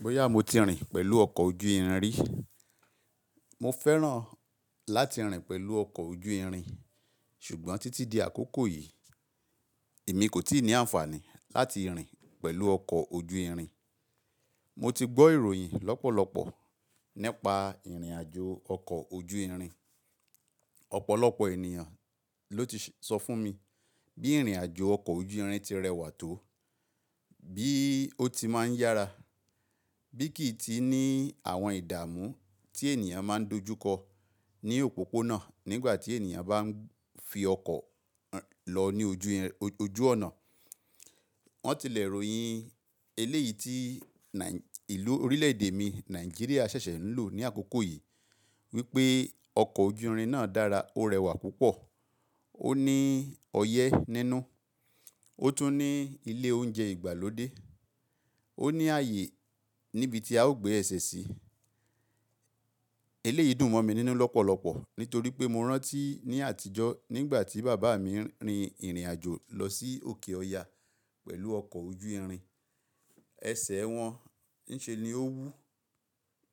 Bóyá mo ti rìn pẹ̀lú ọkọ̀ ojú irin rí. Mo fẹ́ràn láti rìn pẹ̀lú ọkọ̀ ojú irin, ṣùgbọ́n títí di àkókò yìí èmi kò tí ì ní àǹfààní láti rìn pẹ̀lú ọkọ̀ ojú irin. Mo ti gbọ́ ìròyìn lọ́pọ̀lọpọ̀ nípa ìrìnàjò ọkọ̀ ojú irin. Ọ̀pọ̀lọpọ̀ ènìyàn ló ti sọ fún mi bí ìrìnàjò ọkọ̀ ojú irin ti rẹwà tó, bí ó ti máa ń yára, bí kì í ti ní àwọn ìdààmú tí ènìyàn máa ń dojú kọ ní òpópónà nígbà tí ènìyàn bá ń fi ọkọ̀ lọ ní ojú ọ̀nà. Wọ́n tilẹ̀ ìròyìn eléyìí tí ìlú orílẹ̀ èdè mi Nàìjíríà ṣẹ̀ṣẹ̀ ń lò ní àkókò yìí wípé ọkọ̀ ojú irin náà dára, ó rẹwà púpọ̀, ó ní ọyẹ́ nínú, ó tún ní ilé oúnjẹ ìgbàlódé, ó ní ààyè níbi tí a ó gbé ẹ̀sẹ̀ sí. Eléyìí dùn mọ̀ mi nínú lọ́pọ̀lọpọ̀ nítorí pé mo rántí ní àtijọ́ nígbà tí bàbá mi ń rin ìrìnàjò lọ sí òkè ọya pẹ̀lú ọkọ̀ ojú irin. Ẹsẹ̀ wọn ń ṣe ni ó wú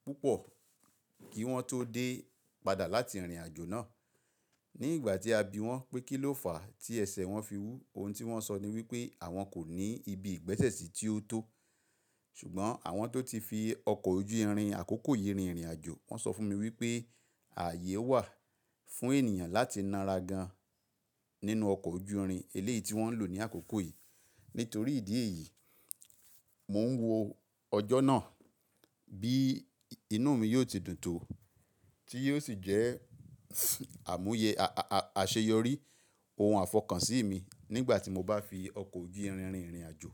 púpọ̀ kí wọ́n tó dé padà láti ìrìnàjò náà. Nígbà tí a bi wọ́n pé kí ló fàá tí ẹsẹ̀ wọn fi wú, ohun tí wọ́n sọ ni wípé àwọn kò ní ibi ìgbẹ́sẹ̀ sí tí ó tó. Ṣùgbọ́n àwọn tó ti fi ọkọ̀ ojú irin àkókò yìí rin ìrìnàjò wọ́n sọ fún mi wípé ààyè wà fún ènìyàn láti naara gan nínú ọkọ̀ ojú irin eléyìí tí wọ́n ń lò ní àkókò yìí. Nítorí ìdí èyí, mò ń wo ọjọ́ náà bí inú mi yóò ti dùn tó tí yóò sì jẹ́ àmúye, àṣeyọrí, ohun àfọkàn sí mi nígbà tí mo bá fi ọkọ̀ ojú irin rin ìrìnàjò.